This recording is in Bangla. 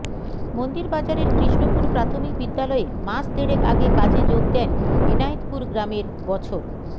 মন্দিরবাজারের কৃষ্ণপুর প্রাথমিক বিদ্যালয়ে মাস দেড়েক আগে কাজে যোগ দেন এনায়েতপুর গ্রামের বছর